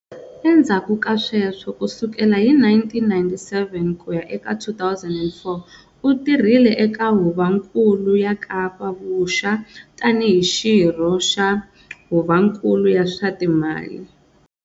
Endzhaku ka sweswo, kusukela hi 1997 kuya eka 2004, u tirhile eka Huvonkulu ya Kapa Vuxa tani hi Xirho xa Huvonkulu ya swa Timali.